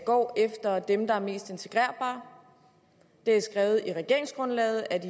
går efter dem der er mest integrerbare det er skrevet i regeringsgrundlaget at